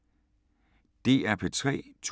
DR P3